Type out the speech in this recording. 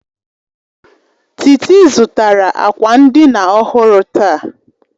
Titi zụtara akwa ndina ọhụrụ taa